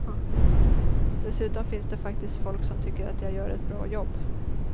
Dessutom finns det faktiskt folk som tycker att jag gör ett bra jobb.